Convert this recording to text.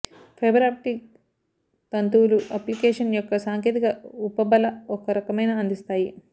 fibre optic తంతువులు application యొక్క సాంకేతిక ఉపబల ఒక రకమైన అందిస్తాయి